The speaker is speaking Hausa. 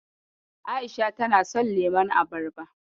A'isha tana son lemon abarba.